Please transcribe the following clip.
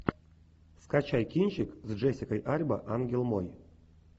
скачай кинчик с джессикой альба ангел мой